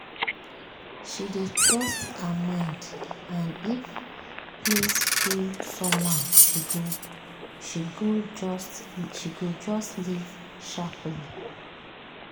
she dey trust her mind and if place feel somehow she go just leave sharply.